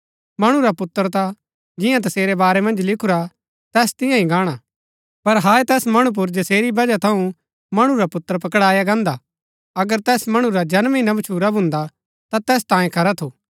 मणु रा पुत्र ता जियां तसेरै बारै मन्ज लिखुरा तैस तियां ही गाणा पर हाय तैस मणु पुर जसेरी बजह थऊँ मणु रा पुत्र पकड़ाया गान्दा अगर तैस मणु रा जन्म ही ना भच्छुरा भून्दा ता तैस तांयें खरा थू